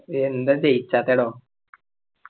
എന്താ ജയിചാത്തേടോ